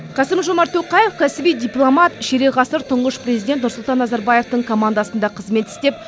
қасым жомарт тоқаев кәсіби дипломат ширек ғасыр тұңғыш президент нұрсұлтан назарбаевтың командасында қызмет істеп